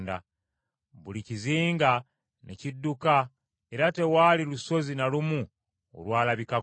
Buli kizinga ne kidduka era tewaali lusozi na lumu olwalabikako.